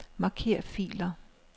Marker filer.